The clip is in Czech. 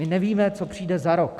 My nevíme, co přijde za rok.